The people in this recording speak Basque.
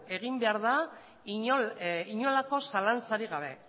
egin behar inolako zalantzarik gabe